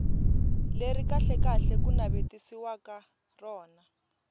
leri kahlekahle ku navetisiwaka rona